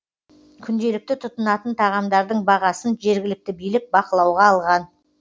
күнделікті тұтынатын тағамдардың бағасын жергілікті билік бақылауға алған